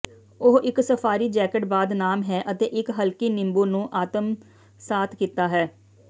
ਉਹ ਇੱਕ safari jacket ਬਾਅਦ ਨਾਮ ਹੈ ਅਤੇ ਇੱਕ ਹਲਕੀ ਨਿੰਬੂ ਨੂੰ ਆਤਮਸਾਤ ਕੀਤਾ ਹੈ